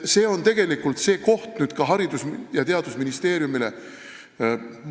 See on tegelikult nüüd Haridus- ja Teadusministeeriumil mõtlemise koht.